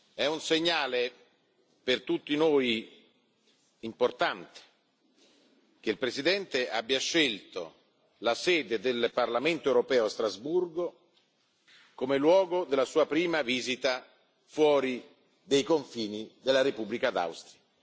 È un segnale per tutti noi importante che il Presidente abbia scelto la sede del Parlamento europeo a Strasburgo come luogo della sua prima visita fuori dei confini della Repubblica d'Austria.